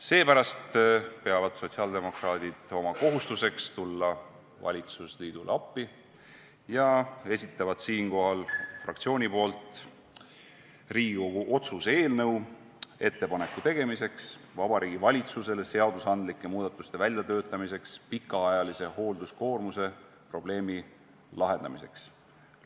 Seepärast peavad sotsiaaldemokraadid oma kohustuseks tulla valitsusliidule appi ja esitavad oma fraktsiooniga Riigikogu otsuse "Ettepaneku tegemine Vabariigi Valitsusele seadusandlike muudatuste väljatöötamiseks pikaajalise hoolduskoormuse probleemi lahendamiseks" eelnõu.